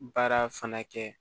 Baara fana kɛ